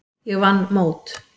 Ég vann mót.